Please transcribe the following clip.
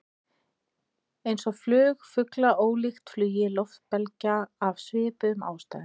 Eins er flug fugla ólíkt flugi loftbelgja, af svipuðum ástæðum.